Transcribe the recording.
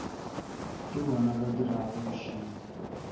ke bona ba dirago bošilo